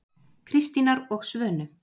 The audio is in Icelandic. Kristínar og Svönu.